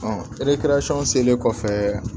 selen kɔfɛ